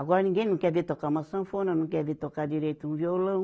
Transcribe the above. Agora ninguém não quer ver tocar uma sanfona, não quer ver tocar direito um violão.